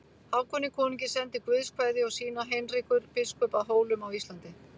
Hákoni konungi sendir Guðs kveðju og sína Heinrekur biskup að Hólum á Íslandi.